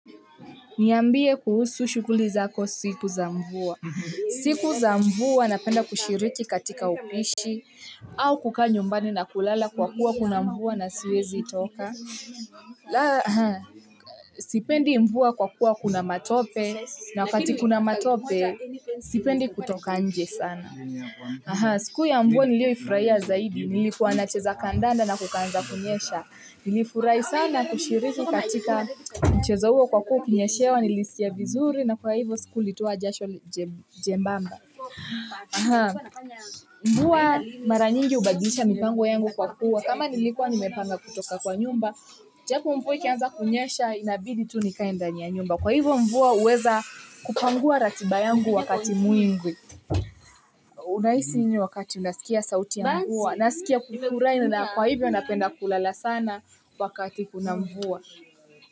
Niambie kuhusu shukuli zako siku za mvua. Siku za mvua napenda kushirichi katika upishi, au kukaa nyumbani na kulala kwa kuwa kuna mvua na siwezi toka. Laa, sipendi mvua kwa kuwa kuna matope, na wakati kuna matope, sipendi kutoka nje sana. Siku ya mvua nilio ifuraia zaidi, nilikuwa nacheza kandanda na kukaanza kunyesha. Nilifurai sana kushiriki katika mchezo huo kwa kuwa ukinyeshewa nilisikia vizuri na kwa hivyo siku litoa jasho jembamba. Ahaa. Mvua maranyingi ubadilisha mipango yangu kwa kuwa kama nilikwa nimepanga kutoka kwa nyumba. Japo mvua ikianza kunyesha inabidi tu nikaendani ya nyumba kwa hivyo mvua uweza kupangua ratiba yangu wakati mwingwi. Unahisi nini wakati unaskia sauti ya mvua, unaskia kufurai nina kwa hivyo napenda kulala sana wakati kuna mvua.